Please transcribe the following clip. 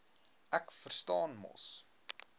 ek verstaan mos